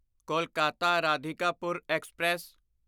Kolkata Radhikapur express